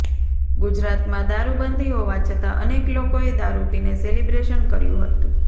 ગુજરાતમાં દારૂબંધી હોવા છતાં અનેક લોકોએ દારૂ પીને સેલિબ્રેશન કર્યું હતું